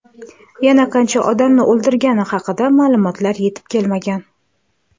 Yana qancha odamni o‘ldirgani haqida ma’lumotlar yetib kelmagan.